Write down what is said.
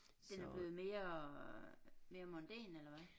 Den er blevet mere mere mondæn eller hvad